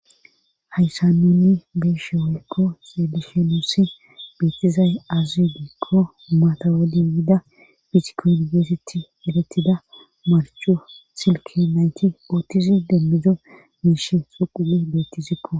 hayssan onni beeshe hoykko selishenosi beetizay azuudikko matawadi yiida pisiko yunibersiti eletida marcho silki nayti oottizi demmido miish suqudi betizipo